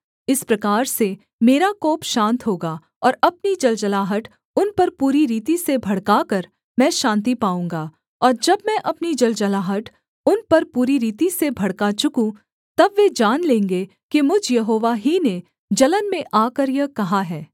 इस प्रकार से मेरा कोप शान्त होगा और अपनी जलजलाहट उन पर पूरी रीति से भड़काकर मैं शान्ति पाऊँगा और जब मैं अपनी जलजलाहट उन पर पूरी रीति से भड़का चुकूँ तब वे जान लेंगे कि मुझ यहोवा ही ने जलन में आकर यह कहा है